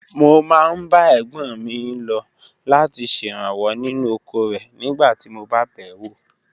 Mo máa ń bá ẹ̀gbọ́n mi lọ láti ṣèrànwọ́ nínú oko rẹ̀ nígbà tí mo bá bẹ̀ wò.